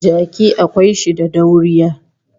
Jaki akwai shi da dauriya